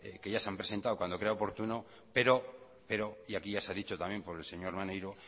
que ya se han presentado cuando crea oportuno pero y aquí ya se ha dicho también por el señor maneiro